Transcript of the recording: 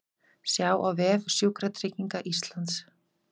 Sjá á vef Sjúkratrygginga Íslands